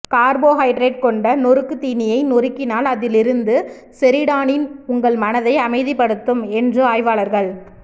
carbohydrate கொண்ட நொறுக்குத் தீனியை நொறுக்கினால் அதிலிருந்து செரிடானின் உங்கள் மனதை அமைதிப்படுத்தும் என்று ஆய்வாளர்கள்